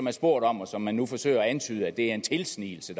er spurgt om og som man nu forsøger at antyde er en tilsnigelse